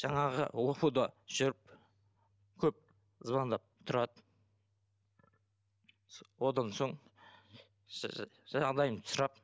жаңағы оқуда жүріп көп звондап тұрады одан соң жағдайымды сұрап